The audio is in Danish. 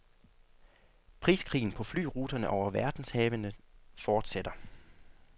Priskrigen på flyruterne over verdenshavene forsætter.